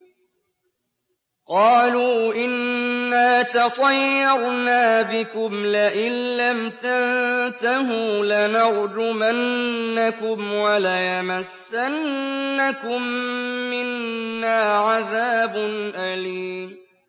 قَالُوا إِنَّا تَطَيَّرْنَا بِكُمْ ۖ لَئِن لَّمْ تَنتَهُوا لَنَرْجُمَنَّكُمْ وَلَيَمَسَّنَّكُم مِّنَّا عَذَابٌ أَلِيمٌ